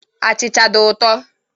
Achịcha dị ụtọ.